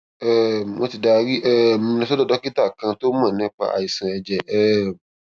um wọn ti darí um mi lọ sọdọ dókítà kan tó mọ nípa àìsàn ẹjẹ um